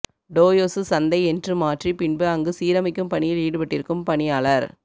Toyosu சந்தை என்று மாற்றி பின்பு அங்கு சீரமைக்கும் பணியில் ஈடுபட்டிருக்கும் பணியாளர்